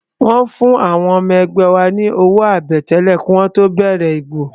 Wọ́n fún àwọn ọmọ ẹgbẹ́ wa ní owó àbẹ̀tẹ́lẹ̀ kí wọ́n tó bẹ̀rẹ̀ ìbò